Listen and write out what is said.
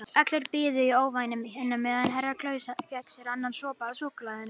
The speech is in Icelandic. Allir biðu í ofvæni á meðan Herra Kláus fékk sér annan sopa af súkkulaðinu.